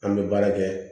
An bɛ baara kɛ